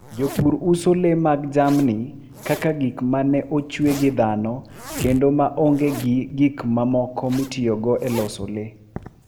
Jopur uso le mag jamni kaka gik ma ne ochwe gi dhano kendo ma onge gi gik mamoko mitiyogo e loso le.